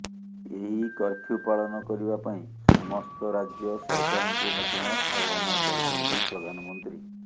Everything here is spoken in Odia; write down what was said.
ଏହି କର୍ଫ୍ୟୁ ପାଳନ କରିବା ପାଇଁ ସମସ୍ତ ରାଜ୍ୟ ସରକାରଙ୍କୁ ମଧ୍ୟ ଆହ୍ୱାନ କରିଛନ୍ତି ପ୍ରଧାନମନ୍ତ୍ରୀ